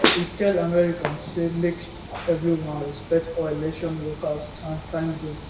e tell americans say make evri one respect all election workers and tank dem